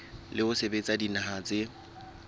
ho sebetsa le dinaha tse